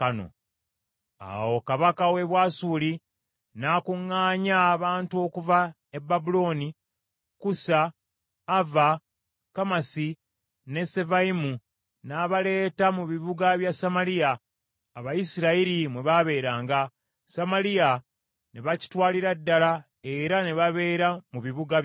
Awo kabaka w’e Bwasuli n’akuŋŋaanya abantu okuva e Babulooni, Kusa, Ava, Kamasi ne Sefavayimu, n’abaleeta mu bibuga bya Samaliya, Abayisirayiri mwe baabeeranga, Samaliya ne bakitwalira ddala era ne babeera mu bibuga byakyo.